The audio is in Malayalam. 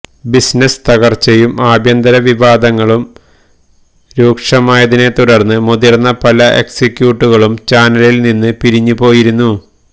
ബിസിനസ് തകർച്ചയും ആഭ്യന്തര വിവാദങ്ങളും രീക്ഷമായതിനെ തുടർന്ന് മുതിർന്ന പല എക്സിക്യൂട്ടീവുകളും ചാനലിൽ നിന്ന് പിരിഞ്ഞു പോയിരുന്നു